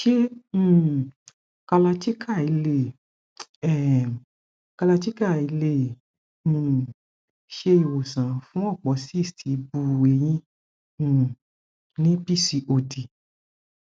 se um kalarchikai le um kalarchikai le um se iwosan fun opo cysts ibu eyin um ni pcod